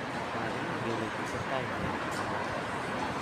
�maginai kele kitesetai nee�, kamwa